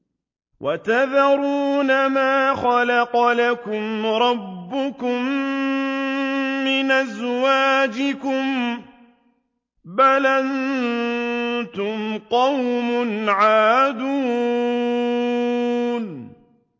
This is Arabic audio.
وَتَذَرُونَ مَا خَلَقَ لَكُمْ رَبُّكُم مِّنْ أَزْوَاجِكُم ۚ بَلْ أَنتُمْ قَوْمٌ عَادُونَ